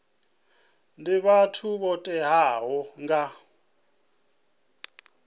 ndi vhathu vho tiwaho nga